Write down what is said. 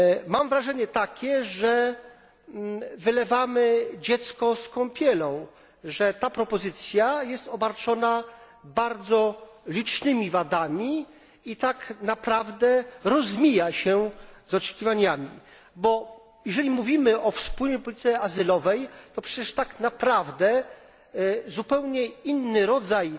Mam wrażenie, że wylewamy dziecko z kąpielą, że ta propozycja jest obarczona bardzo licznymi wadami i tak naprawdę rozmija się z oczekiwaniami bo jeżeli mówimy o wspólnej polityce azylowej, to przecież tak naprawdę zupełnie inny rodzaj